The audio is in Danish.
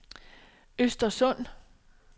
Östersund